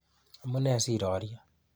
Amune sirorye.